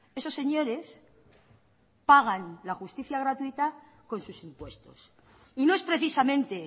esos señores pagan la justicia gratuita con sus impuestos y no es precisamente